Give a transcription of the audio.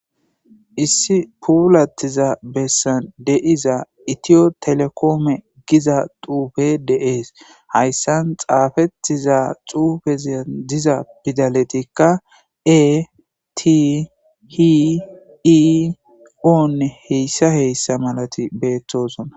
Issi puulatiza Besan de'izay eto telokome Giza xufey de'es Haysan xafetida xufey Diza pidaley etihone h.h.m Betosona